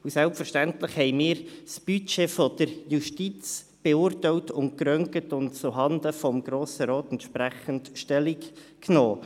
Selbstverständlich beurteilten und röntgten wir das Budget der Justiz und nahmen dann zuhanden des Grossen Rates Stellung dazu.